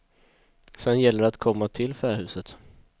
Sen gäller det att komma till fähuset.